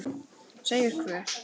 Segir hver?